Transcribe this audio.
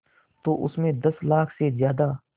तो उस में दस लाख से ज़्यादा